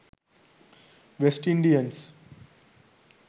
west indians